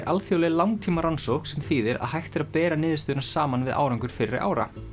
alþjóðleg langtímarannsókn sem þýðir að hægt er að bera niðurstöðuna saman við árangur fyrri ára